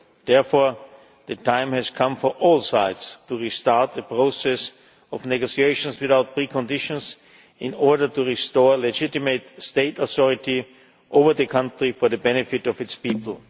Therefore, the time has come for all sides to restart the process of negotiations without preconditions, in order to restore legitimate state authority over the country for the benefit of its people.